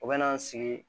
U bɛ na n sigi